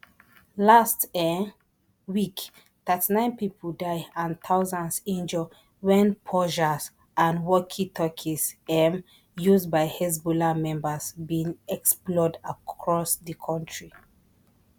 last um week thirty-nine pipo die and thousands injure wen pagers and walkietalkies um used by hezbollah members bin explode across di kontri